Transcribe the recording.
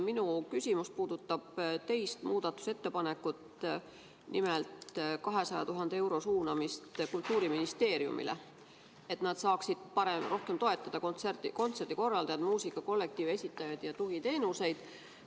Minu küsimus puudutab muudatusettepanekut nr 2, nimelt 200 000 euro suunamist Kultuuriministeeriumile, et nad saaksid rohkem toetada kontserdikorraldajaid, muusikakollektiive, esitajaid ja tugiteenuseid.